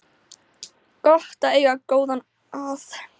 Gott að eiga góða að